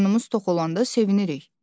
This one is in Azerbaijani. Qarnımız tox olanda sevinirik.